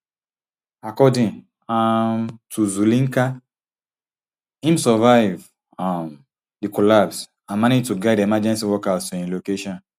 according um to zulinka im survive um di collapse and manage to guide emergency workers to im location